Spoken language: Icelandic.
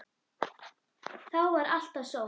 Þá var alltaf sól.